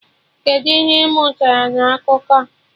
Kedụ ihe ị mụtara na akụkọ a?